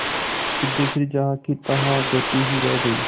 सिद्धेश्वरी जहाँकीतहाँ बैठी ही रह गई